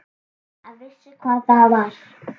Hann vissi hvað það var.